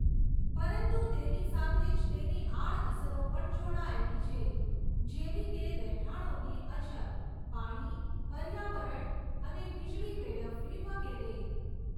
પરંતુ તેની સાથે જ તેની આડઅસરો પણ જોડાયેલી છે જેવી કે રહેઠાણોની અછત, પાણી, પર્યાવરણ, અને વીજળી વેડફવી વગેરે.